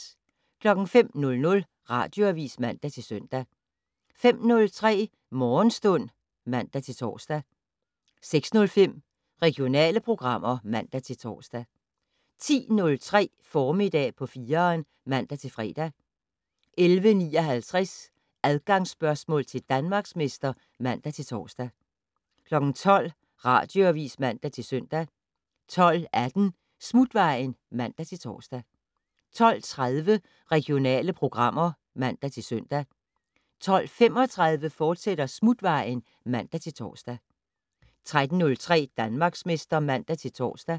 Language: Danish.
05:00: Radioavis (man-søn) 05:03: Morgenstund (man-tor) 06:05: Regionale programmer (man-tor) 10:03: Formiddag på 4'eren (man-fre) 11:59: Adgangsspørgsmål til Danmarksmester (man-tor) 12:00: Radioavis (man-søn) 12:18: Smutvejen (man-tor) 12:30: Regionale programmer (man-søn) 12:35: Smutvejen, fortsat (man-tor) 13:03: Danmarksmester (man-tor)